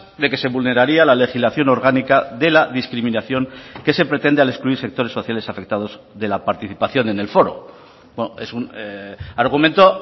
de que se vulneraría la legislación orgánica de la discriminación que se pretende al excluir sectores sociales afectados de la participación en el foro es un argumento